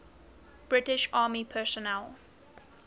british army personnel